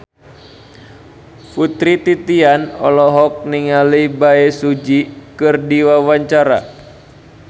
Putri Titian olohok ningali Bae Su Ji keur diwawancara